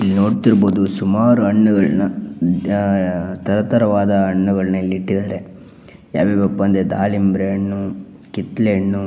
ಇಲ್ಲಿ ನೋಡ್ತಿರಬಹುದು ಸುಮಾರು ಹಣ್ಣುಗಳನ್ನು ತರ ತರವಾದ ಹಣ್ಣುಗಳನ್ನು ಇಲ್ಲಿ ಇಟ್ಟಿದಾರೆ. ಯಾವ್ಯಾವಪ್ಪ ಅಂದ್ರೆ ದಾಳಿಂಬೆ ಹಣ್ಣು ಕಿತ್ತಳೆ ಹಣ್ಣು--